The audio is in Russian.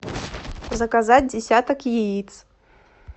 заказать десяток яиц